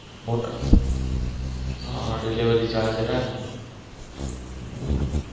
મોટા હા delivery charge લેને.